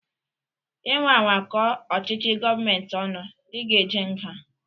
Inwa anwa kọọ ọchịchị gọọmenti ọnu, ị ga-eje nga